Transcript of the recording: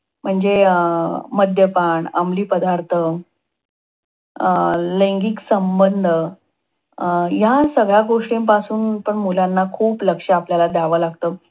म्हणजे अं मद्यपान, अमली पदार्थ, अं लैंगिक संबंध या सगळ्या गोष्टींपासून सुद्धा मुलांना खूप लक्ष आपल्याला द्याव लागत.